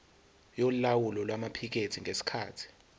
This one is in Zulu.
yolawulo lwamaphikethi ngesikhathi